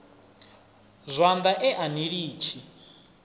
zwanḓa e a ni litshi